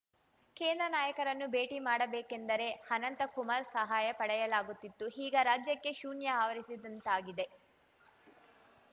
ಕೇಂದ್ರ ನಾಯಕರನ್ನು ಭೇಟಿ ಮಾಡಬೇಕೆಂದರೆ ಅನಂತ್ಕುಮಾರ್‌ ಸಹಾಯ ಪಡೆಯಲಾಗುತ್ತಿತ್ತು ಈಗ ರಾಜ್ಯಕ್ಕೆ ಶೂನ್ಯ ಆವರಿಸಿದಂತಾಗಿದೆ